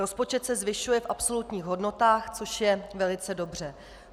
Rozpočet se zvyšuje v absolutních hodnotách, což je velice dobře.